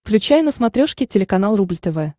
включай на смотрешке телеканал рубль тв